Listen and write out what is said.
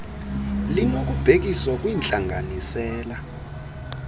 limo kubhekiswa kwintlanganisela